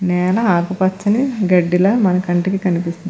నేల ఆకుపచ్చని గడ్డిలా మన కంటికి కనిపిస్తుంది.